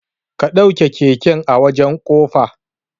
Ka ɗauke keken a wajan kofa